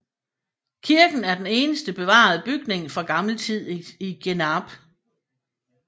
Kirken er den eneste bevarede bygning fra gammel tid i Genarp